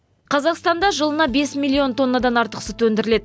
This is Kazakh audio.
қазақстанда жылына бес миллион тоннадан артық сүт өндіріледі